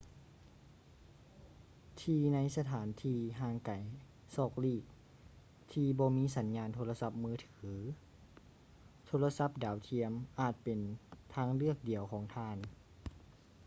ທີ່ໃນສະຖານທີ່ຫ່າງໄກສອກຫຼີກທີ່ບໍ່ມີສັນຍານໂທລະສັບມືຖື ໂທລະສັບດາວທຽມອາດເປັນທາງເລືອກດຽວຂອງທ່ານ